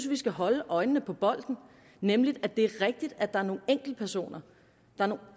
vi skal holde øjnene på bolden nemlig at det er rigtigt at der er nogle enkeltpersoner